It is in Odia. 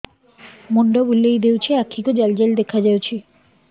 ମୁଣ୍ଡ ବୁଲେଇ ଦେଉଛି ଆଖି କୁ ଜାଲି ଜାଲି ଦେଖା ଯାଉଛି